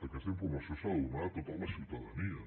aquesta informació s’ha de donar a tota la ciutadania